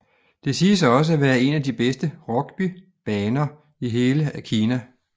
Det siges også at være en af de bedste rugby baner i hele Kina